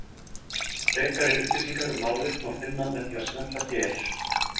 Frekari upplýsingar um málið má finna með því að smella hér.